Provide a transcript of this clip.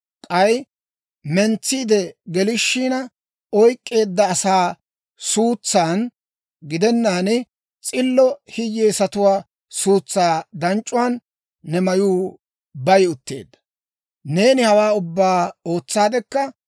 K'ay mentsiide gelishina oyk'k'eedda asaa suutsan gidennaan, s'illo hiyyeesatuwaa suutsaa d'ac'uwaan ne mayuu bay utteedda. «Neeni hawaa ubbaa ootsaadekka,